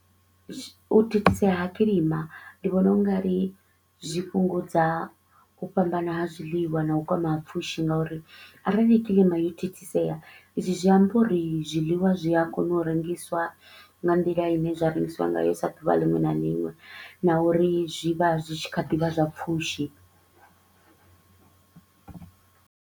U thithisea ha kilima ndi vhona u nga ri zwi fhungudza u fhambana ha zwiḽiwa na u kwama ha pfushi nga uri, arali kilima yo thithisea izwi zwi amba uri zwiḽiwa zwi a kona u rengiswa nga nḓila i ne zwa rengisiwa ngayo sa ḓuvha liṅwe na liṅwe na uri zwi vha zwi tshi kha ḓi vha zwa pfushi.